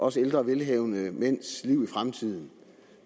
os ældre velhavende mænds liv i fremtiden